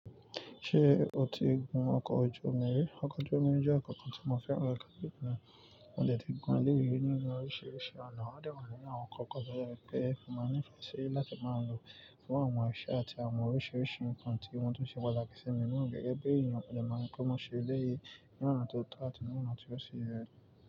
Ṣé o ti gun ọkọ̀ ojú omi rí? Ọkọ̀ ojú omi jẹ́ ọkọ̀ kan tí mo fẹ́ràn rẹ̀ káàkiri ìgbà. Mo dẹ̀ ti gùn èléyí nínú oríṣìíríṣìí ọ̀nà. Wọ́n dẹ̀ wà nínú àwọn ǹkankan tójẹ pé mo ní ìfẹ́ síi láti máa lo fún àwọn iṣẹ́ àti àwọn oríṣìíríṣìí nǹkan tí wọ́n tún ṣe pàtàkì sí mi ná gẹ́gẹ́ bí èèyàn, mo dẹ̀ mà mọ pé mo ṣe eléyí ní ọ̀nà tó tọ́ àti ní ọ̀nà tí ó ṣì yé.